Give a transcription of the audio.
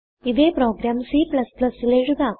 ഇതേ പ്രോഗ്രാം Cnൽ എഴുതാം